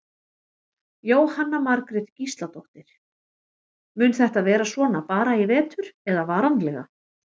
Jóhanna Margrét Gísladóttir: Mun þetta vera svona bara í vetur eða varanlega?